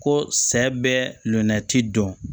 Ko sɛ bɛ luna ti dɔn